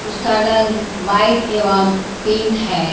उसका रंग व्हाइट एवं पिंक है।